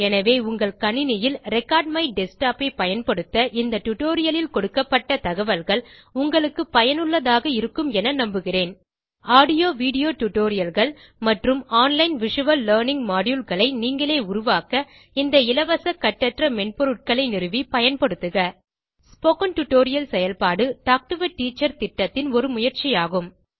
எனவே உங்கள் கணினியில் ரெக்கார்ட்மைடஸ்க்டாப் ஐ பயன்படுத்த இந்த டியூட்டோரியல் லில் கொடுக்கப்பட்ட தகவல்கள் உங்களுக்கு பயனுள்ளதாக இருக்கும் என நம்புகிறேன் audio வீடியோ tutorialகள் மற்றும் ஆன்லைன் விசுவல் லர்னிங் moduleகளை நீங்களே உருவாக்க இந்த இலவச கட்டற்ற மென்பொருட்களை நிறுவி பயன்படுத்துக ஸ்போக்கன் டியூட்டோரியல் செயல்பாடு டால்க் டோ ஆ டீச்சர் திட்டத்தின் ஒரு முயற்சி ஆகும்